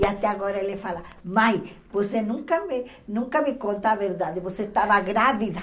E até agora ele fala, mãe, você nunca me nunca me conta a verdade, você estava grávida.